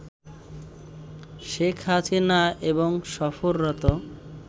শেখ হাসিনা এবং সফররত